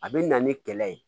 A bɛ na ni kɛlɛ ye